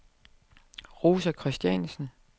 Rosa Christiansen